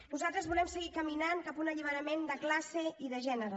nosaltres volem seguir caminant cap a un alliberament de classe i de gènere